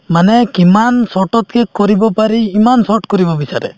মানে কিমান short ত শেষ কৰিব পাৰি ইমান short কৰিব বিচাৰে